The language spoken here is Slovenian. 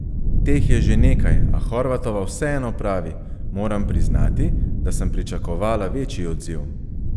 Teh je že nekaj, a Horvatova vseeno pravi: "Moram priznati, da sem pričakovala večji odziv.